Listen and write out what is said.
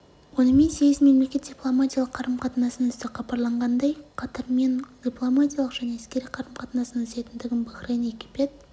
онымен сегіз мемлекет дипломатиялық қарым-қатынасын үзді хабарлағандай қатармен дипломатиялық және әскери қарым-қатынасын үзетіндігін бахрейн египет